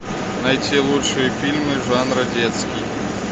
найти лучшие фильмы жанра детский